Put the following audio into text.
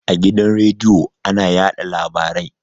A gidan radiyo ana yaɗa labarai